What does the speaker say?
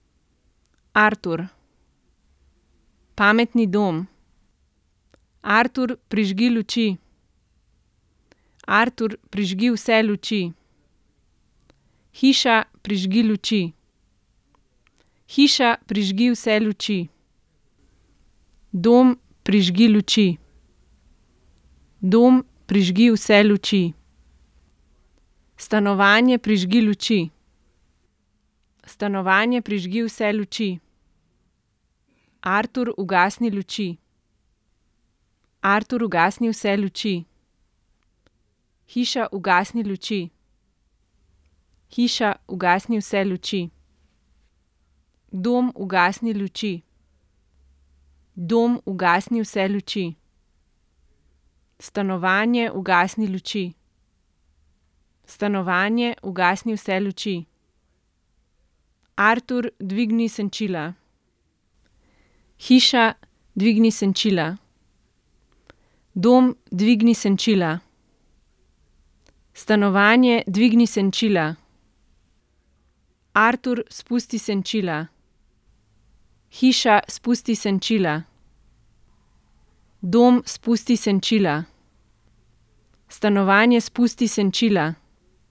Artur. Pametni dom. Artur, prižgi luči. Artur, prižgi vse luči. Hiša, prižgi luči. Hiša, prižgi vse luči. Dom, prižgi luči. Dom, prižgi vse luči. Stanovanje, prižgi luči. Stanovanje, prižgi vse luči. Artur, ugasni luči. Artur, ugasni vse luči. Hiša, ugasni luči. Hiša, ugasni vse luči. Dom, ugasni luči. Dom, ugasni vse luči. Stanovanje, ugasni luči. Stanovanje, ugasni vse luči. Artur, dvigni senčila. Hiša, dvigni senčila. Dom, dvigni senčila. Stanovanje, dvigni senčila. Artur, spusti senčila. Hiša, spusti senčila. Dom, spusti senčila. Stanovanje, spusti senčila.